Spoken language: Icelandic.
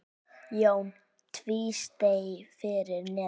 Jón tvísté fyrir neðan.